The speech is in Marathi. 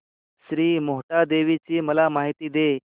श्री मोहटादेवी ची मला माहिती दे